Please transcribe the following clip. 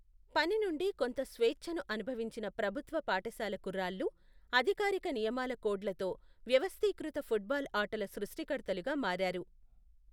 పని నుండి కొంత స్వేచ్ఛను అనుభవించిన ప్రభుత్వ పాఠశాల కుర్రాళ్ళు, అధికారిక నియమాల కోడ్లతో వ్యవస్థీకృత ఫుట్బాల్ ఆటల సృష్టికర్తలుగా మారారు.